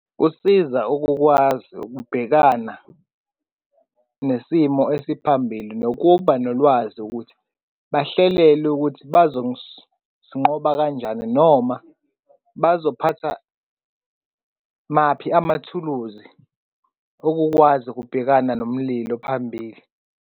Kusiza ukukwazi ukubhekana nesimo esiphambili nokubanolwazi ukuthi bahlele ukuthi bazosinqoba kanjani noma bazophatha maphi amathuluzi okukwazi ukubhekana nomlilo phambili.